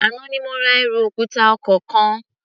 Àná ni mo ra ẹrù òkúta ọkọ̀ kan.